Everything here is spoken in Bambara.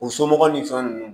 O somɔgɔw ni fɛn nunnu